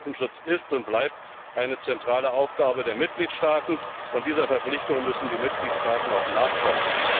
Katastrophenschutz ist und bleibt eine zentrale Aufgabe der Mitgliedstaaten, und dieser Verpflichtung müssen die Mitgliedstaaten auch nachkommen.